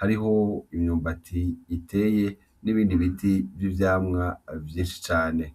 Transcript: hariho imyumbati iteye n’ibindi biti n’ivyamwa vyinshi cane.